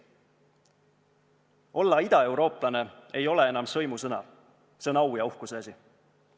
Olla idaeurooplane ei ole enam sõimusõna, see on au ja uhkuse asi.